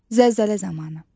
Zəlzələ zamanı.